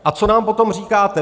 A co nám potom říkáte?